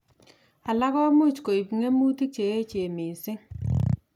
Alak komuch koib ngemutik che yachen missing